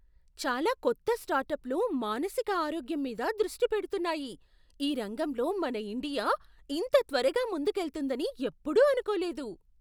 చాలా కొత్త స్టార్టప్లు మానసిక ఆరోగ్యం మీద దృష్టి పెడుతున్నాయి! ఈ రంగంలో మన ఇండియా ఇంత త్వరగా ముందుకెళ్తుందని ఎప్పుడూ అనుకోలేదు.